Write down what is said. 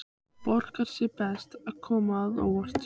Borgar sig best að koma á óvart.